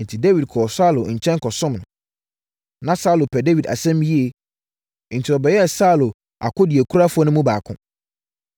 Enti, Dawid kɔɔ Saulo nkyɛn kɔsom no. Na Saulo pɛ Dawid asɛm yie, enti ɔbɛyɛɛ Saulo akodeɛkurafoɔ no mu baako.